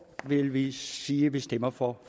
vil vi sige at vi stemmer for